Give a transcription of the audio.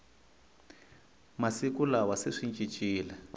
masiku lawa se swi cincile